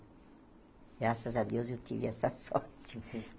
Graças a Deus eu tive essa (sorte) sorte.